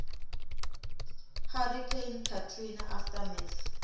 hurricane katrina aftermath